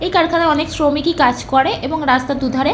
এই কারখানায় অনেক শ্রমিকই কাজ করে এবং রাস্তার দুধারে --